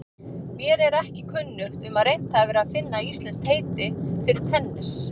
Mér er ekki kunnugt um að reynt hafi verið að finna íslenskt heiti fyrir tennis.